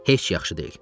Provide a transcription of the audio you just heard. Heç yaxşı deyil.